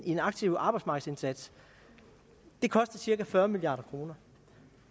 en aktiv arbejdsmarkedsindsats koster cirka fyrre milliard kroner